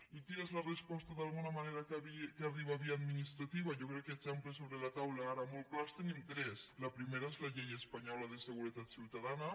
i quina és la resposta d’alguna manera que arriba via administrativa jo crec que d’exemples sobre la taula ara molt clars en tenim tres la primera és la llei espanyola de seguretat ciutadana